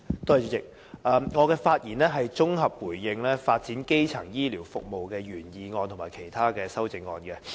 主席，我的發言是綜合回應"發展基層醫療服務"的議案及其他修正案。